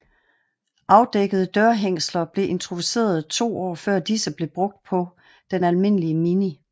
Afdækkede dørhængsler blev introduceret to år før disse blev brugt på den almindelige Mini